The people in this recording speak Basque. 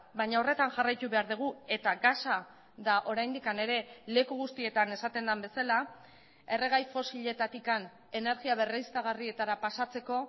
baina horretan jarraitu behar dugu eta gasa da oraindik ere leku guztietan esaten den bezala erregai fosiletatik energia berriztagarrietara pasatzeko